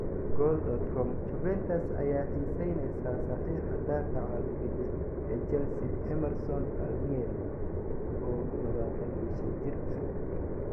(Goal.com) Juventus ayaa xiiseyneysa saxiixa daafaca bidix ee Chelsea Emerson Palmieri, oo 25 jir ah.